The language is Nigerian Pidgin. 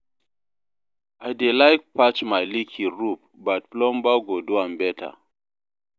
I dey like patch my leaking roof, but plumber go do am better.